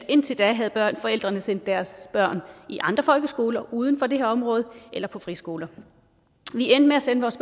indtil da havde forældrene sendt deres børn i andre folkeskoler uden for det her område eller på friskoler vi endte med at sende vores